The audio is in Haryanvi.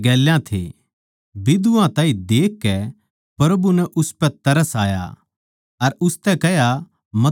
बिधवा ताहीं देखकै प्रभु नै उसपै तरस आया अर उसतै कह्या मतना रोवै